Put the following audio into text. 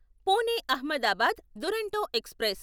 Pune Ahmedabad Duronto express